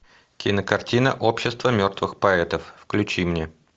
кинокартина общество мертвых поэтов включи мне